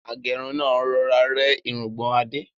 Agẹ́run náà rọra rẹ́ irungbọ̀n Adé.